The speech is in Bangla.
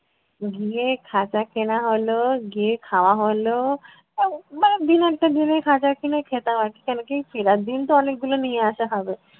গিয়ে খাজা কেনা হল, গিয়ে খাওয়া হলো। আহ মানে দিনের টা দিনে খাজা কিনে খেতাম আর কী, কেনো কী ফেরার দিন তো অনেকগুলো নিয়ে আসা হবে।